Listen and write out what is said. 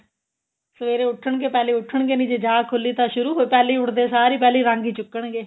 ਸਵੇਰੇ ਉਠਣਗੇ ਪਹਿਲੇ ਉਠਣਗੇ ਨਹੀਂ ਜੇ ਜਾਗ ਖੁਲੀ ਤਾਂ ਸ਼ੁਰੂ ਹੋ ਪਹਿਲੇ ਹੀ ਉਠਦੇ ਸਾਰ ਪਹਿਲੇ ਰੰਗ ਹੀ ਚੁਕਣਗੇ